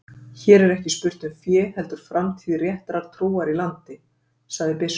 Hér er ekki spurt um fé heldur framtíð réttrar trúar í landi, sagði biskup.